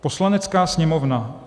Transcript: Poslanecká sněmovna